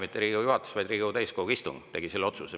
Mitte Riigikogu juhatus, vaid Riigikogu täiskogu tegi selle otsuse.